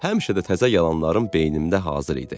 Həmişə də təzə yalanlarım beynimdə hazır idi.